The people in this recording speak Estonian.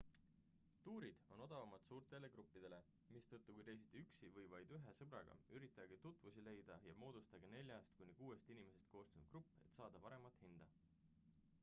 tuurid on odavamad suurtele gruppidele mistõttu kui reisite üksi või vaid ühe sõbraga üritage tutvusi leida ja moodustage neljast kuni kuuest inimesest koosnev grupp et saada paremat hinda